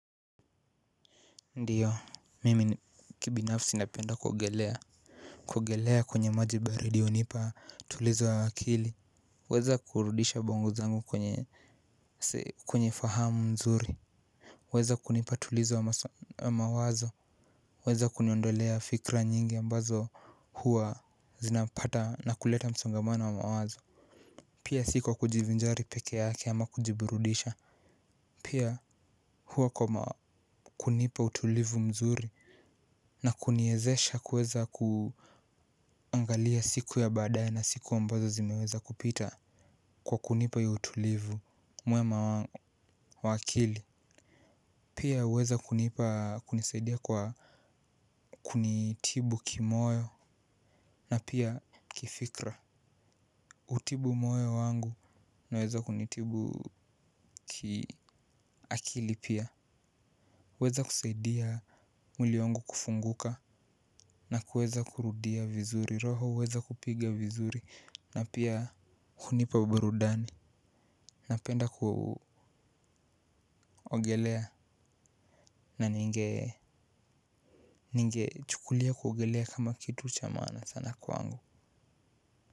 Ndiyo mimi kibinafsi napenda kuogelea. Kuogelea kwenye maji baridi hunipa tulizo wa akili. Huweza kurudisha bongo zangu kwenye kwenye fahamu mzuri. Huweza kunipa tulizo wa mawazo. Huweza kuniondolea fikra nyingi ambazo huwa zinapata na kuleta msongamana wa mawazo. Pia si kwa kujivinjari pekee yake ama kujiburudisha, pia kuwa kwa ma, kunipa utulivu mzuri na kuniwezesha kuweza ku angalia siku ya baadae na siku ambayo zimeweza kupita kwa kunipa huo utulivu. Pia huweza kunipa kunisaidia kwa kunitibu kimoyo na pia kifikra hutibu moyo wangu unaweza kunitibu kiakili pia huwezi kusaidia mwili wangu kufunguka na kuweza kurudia vizuri, roho huweza kupiga vizuri na pia hunipa burudani. Napenda kuogelea na ninge chukulia kuogelea kama kitu cha maana sana kwangu.